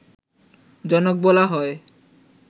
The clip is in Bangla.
জনক বলা হয়